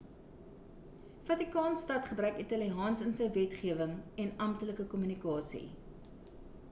vatikaan stad gebruik italiaans in sy wetgewing en amptelike kommunikasie